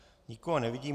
Nikoho nevidím.